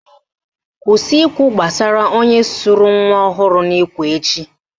Kwụsị ikwu gbasara onye sụrụ nwa ọhụrụ n'ikwe echi!